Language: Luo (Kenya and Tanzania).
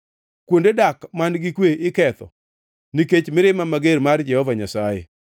Kuonde dak man-gi kwe iketho nikech mirima mager mar Jehova Nyasaye.